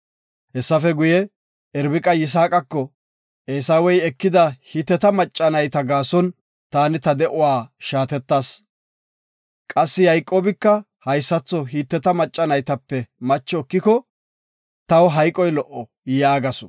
Hessafe guye, Irbiqa Yisaaqako, “Eesawey ekida Hiteta macca nayta gaason taani ta de7uwa shaatetas. Qassi Yayqoobika haysatho Hiteta macca naytape macho ekiko, taw hayqoy lo77o” yaagasu.